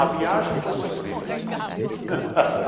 A viagem foi sofrida.